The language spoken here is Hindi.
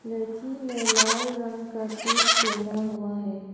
लड़की ने लाल रंग का सूट पहना हुआ है।